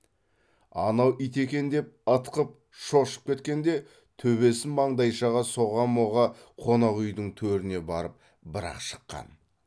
анау ит екен деп ытқып шошып кеткенде төбесін маңдайшаға соға моға қонақ үйдің төріне барып бір ақ шыққан